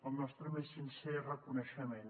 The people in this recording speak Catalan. el nostre més sincer reconeixement